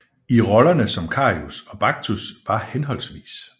I rollerne som Karius og Baktus var hhv